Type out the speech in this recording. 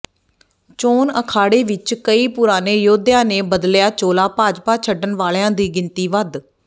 ਚੋਣ ਅਖਾੜੇ ਵਿਚ ਕਈ ਪੁਰਾਣੇ ਯੋਧਿਆਂ ਨੇ ਬਦਲਿਆ ਚੋਲਾ ਭਾਜਪਾ ਛੱਡਣ ਵਾਲਿਆਂ ਦੀ ਗਿਣਤੀ ਵੱਧ